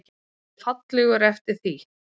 Og fallegur eftir því.